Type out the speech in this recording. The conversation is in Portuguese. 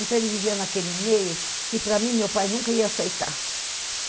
Então, ele vivia naquele meio que, para mim, meu pai nunca ia aceitar.